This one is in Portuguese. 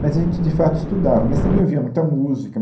Mas a gente, de fato, estudava, mas também ouvia muita música.